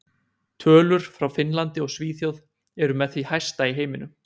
Tölur frá Finnlandi og Svíþjóð eru með því hæsta í heiminum.